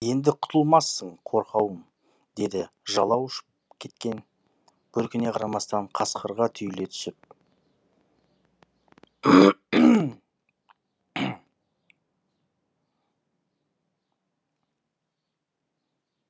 енді құтылмассың қорқауым деді жалау ұшып кеткен бөркіне қарамастан қасқырға түйіле түсіп